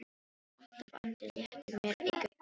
Þar alltaf andi léttur mér eykur bros um kinn.